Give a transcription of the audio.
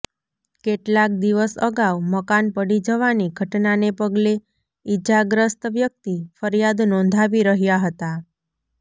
કેટલાક દિવસ અગાઉ મકાન પડી જવાની ઘટનાને પગલે ઇજાગ્રસ્ત વ્યક્તિ ફરિયાદ નોંધાવી રહ્યા હતા